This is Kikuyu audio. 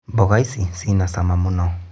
Mboga ici cinacama mũno.